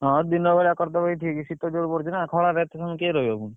ହଁ ଦିନବେଳା କରିଦେବ ଏଇଠିକ ଶୀତ ଜୋରେ ପଡୁଛି ନା ଖଳାରେ ଏତେ ସମୟ କିଏ ରହିବ ପୁଣି?